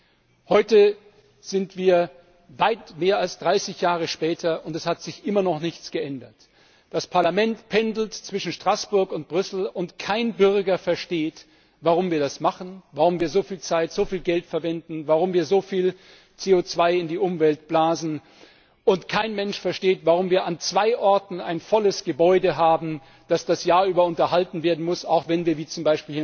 Das ist heute weit mehr als 30 Jahre her und es hat sich noch immer nichts geändert! Das Parlament pendelt zwischen Straßburg und Brüssel und kein Bürger versteht, warum wir das machen, warum wir so viel Zeit, so viel Geld verwenden, warum wir so viel CO 2 in die Umwelt blasen. Und kein Mensch versteht, warum wir an zwei Orten ein volles Gebäude haben, das das ganze Jahr über unterhalten werden muss, auch wenn wir wie z.